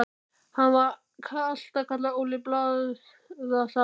Hann var alltaf kallaður Óli blaðasali.